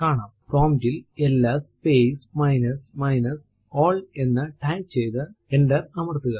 prompt ൽ LS space minus minus al എന്ന് type ചെയ്തു എന്റർ അമർത്തുക